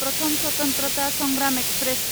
प्रथम स्वतन्त्रता संग्राम एक्सप्रेस